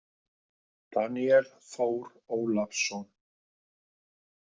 Daníel Þór Ólason.